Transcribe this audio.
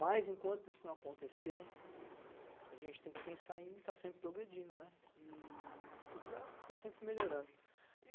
Mas, enquanto isso não acontecer, a gente tem que pensar em estar sempre progredindo, né, e procurar estar sempre melhorando.